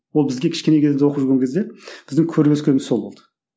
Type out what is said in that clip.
ол бізге кішкене кезімізде оқып жүрген кезде біздің көріп өскеніміз сол болды